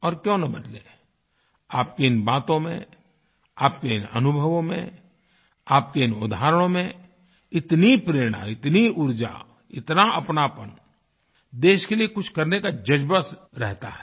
और क्यों न बदले आपकी इन बातों में आपके इन अनुभवों में आपके इन उदाहरणों में इतनी प्रेरणा इतनी ऊर्जा इतना अपनापनदेश के लिए कुछ करने का जज़्बा रहता है